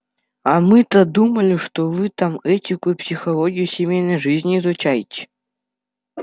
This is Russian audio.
а мы-то думали что вы там этику и психологию семейной жизни изучаете